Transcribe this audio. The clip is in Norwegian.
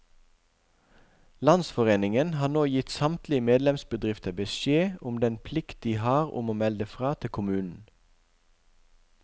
Landsforeningen har nå gitt samtlige medlemsbedrifter beskjed om den plikt de har om å melde fra til kommunen.